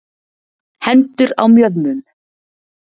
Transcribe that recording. Hendur á mjöðmum.